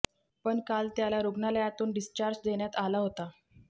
पण काल त्याला रुग्णालयातून डिस्चार्ज देण्यात आला होता